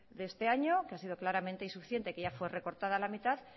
de este año que ha sido claramente insuficiente que ya fue recortada la mitad